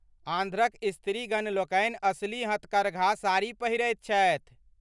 आंध्रक स्त्रीगण लोकनि असली हथकरघाक साड़ी पहिरैत छथि।